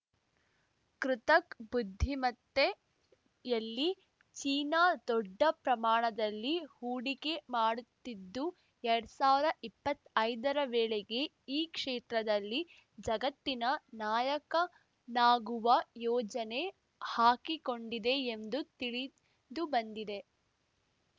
ಕೃತಕ್ ಬುದ್ಧಿಮತ್ತೆ ಯಲ್ಲಿ ಚೀನಾ ದೊಡ್ಡ ಪ್ರಮಾಣದಲ್ಲಿ ಹೂಡಿಕೆ ಮಾಡುತ್ತಿದ್ದು ಎರಡ್ ಸಾವ್ರ ಇಪ್ಪತ್ತೈದರ ವೇಳೆಗೆ ಈ ಕ್ಷೇತ್ರದಲ್ಲಿ ಜಗತ್ತಿನ ನಾಯಕನಾಗುವ ಯೋಜನೆ ಹಾಕಿಕೊಂಡಿದೆ ಎಂದು ತಿಳಿದುಬಂದಿದೆ